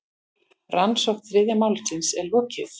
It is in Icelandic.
Rannsókn þriðja málsins er lokið.